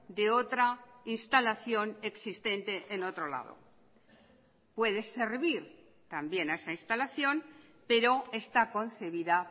de otra instalación existente en otro lado puede servir también a esa instalación pero está concebida